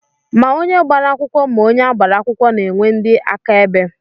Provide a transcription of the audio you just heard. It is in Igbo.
Ma onye gbara akwụkwọ ma onye agbara akwụkwọ na-enwe ndị áká ebe.